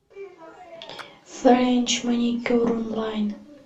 френч маникюр онлайн